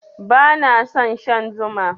Bana son shan Zuma.